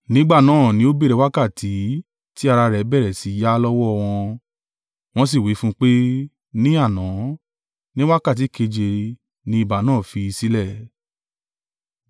Nígbà náà ni ó béèrè wákàtí tí ara rẹ̀ bẹ̀rẹ̀ sí í yá lọ́wọ́ wọn, wọ́n sì wí fún un pé, “Ní àná, ní wákàtí keje ni ibà náà fi í sílẹ̀.”